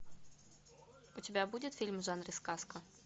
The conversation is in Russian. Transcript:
у тебя будет фильм в жанре сказка